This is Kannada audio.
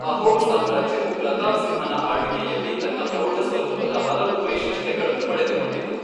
ಅಹೋಮ್ ಸಾಮ್ರಾಜ್ಯವು ಪ್ರತಾಪ್ ಸಿಂಹನ ಆಳ್ವಿಕೆಯಲ್ಲಿ ತನ್ನ ಪ್ರೌಢ ಸ್ವರೂಪದ ಹಲವು ವೈಶಿಷ್ಟ್ಯಗಳನ್ನು ಪಡೆದುಕೊಂಡಿತು.